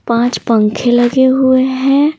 पाँच पंखे लगे हुए हैं।